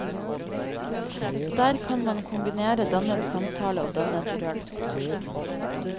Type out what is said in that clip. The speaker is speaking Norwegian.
Der kan man kombinere dannet samtale og dannet rølp.